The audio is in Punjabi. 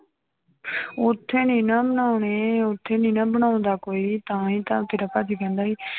ਉੱਥੇ ਨੀ ਨਾ ਬਣਾਉਣੇ ਉੱਥੇ ਨੀ ਨਾ ਬਣਾਉਂਦਾ ਕੋਈ ਤਾਂ ਹੀ ਤਾਂ ਤੇਰਾ ਭਾਜੀ ਕਹਿੰਦਾ ਸੀ,